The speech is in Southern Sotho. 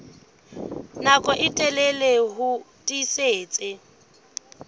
nako e telele ho tiisitse